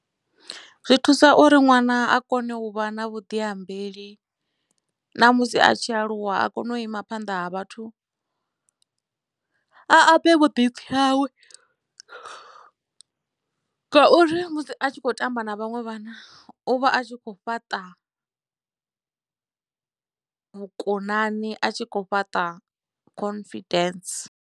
Zwi thusa uri ṅwana a kone u vha na vhuḓiambeli na musi a tshi aluwa a kone u ima phanḓa ha vhathu a ambe vhuḓipfhi hawe ngauri musi a tshi khou tamba na vhanwe vhana u vha a tshi kho fhaṱa vhukonani a tshi kho fhaṱa confidence.